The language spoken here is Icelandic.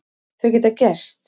Þau geta gerst.